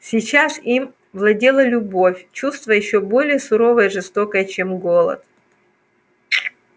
сейчас им владела любовь чувство ещё более суровое и жестокое чем голод